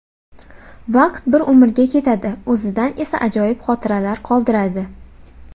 Vaqt bir umrga ketadi, o‘zidan esa ajoyib xotiralar qoldiradi.